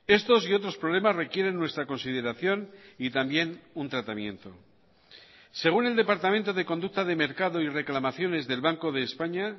estos y otros problemas requieren nuestra consideración y también un tratamiento según el departamento de conducta de mercado y reclamaciones del banco de españa